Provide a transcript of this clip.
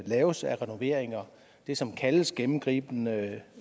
laves af renoveringer det som kaldes gennemgribende